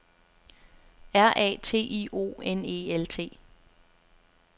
R A T I O N E L T